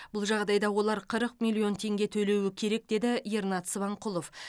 бұл жағдайда олар қырық миллион теңге төлеуі керек деді ернат сыбанқұлов